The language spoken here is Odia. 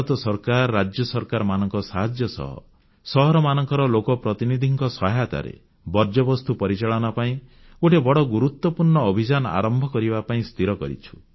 ଭାରତ ସରକାର ରାଜ୍ୟ ସରକାରମାନଙ୍କ ସାହାଯ୍ୟ ସହ ସହରାଂଚଳର ଲୋକପ୍ରତିନିଧିମାନଙ୍କ ସହାୟତାରେ ବର୍ଜ୍ୟବସ୍ତୁ ପରିଚାଳନା ପାଇଁ ଗୋଟିଏ ବଡ଼ ଗୁରୁତ୍ୱପୂର୍ଣ୍ଣ ଅଭିଯାନ ଆରମ୍ଭ କରିବା ପାଇଁ ସ୍ଥିର କରିଛନ୍ତି